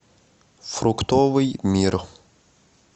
фруктовый мир